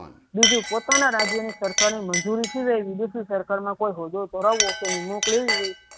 બીજું પોતાના રાજ્યનું સરકારી મજૂરી વિવિધ સરકારમાં કોઈ હોદ્દો કરાવવો